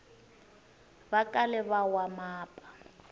va kale va wa mapa